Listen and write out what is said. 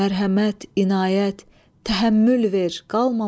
Mərhəmət, inayət, təhəmmül ver.